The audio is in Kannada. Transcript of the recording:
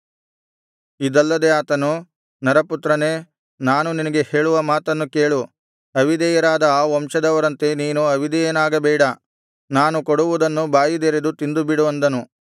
ಇದಲ್ಲದೆ ಆತನು ನರಪುತ್ರನೇ ನಾನು ನಿನಗೆ ಹೇಳುವ ಮಾತನ್ನು ಕೇಳು ಅವಿಧೇಯರಾದ ಆ ವಂಶದವರಂತೆ ನೀನು ಅವಿಧೇಯನಾಗಬೇಡ ನಾನು ಕೊಡುವುದನ್ನು ಬಾಯಿದೆರೆದು ತಿಂದುಬಿಡು ಅಂದನು